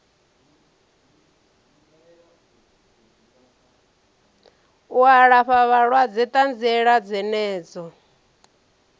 u alafha vhalwadze ṱanziela dzenedzo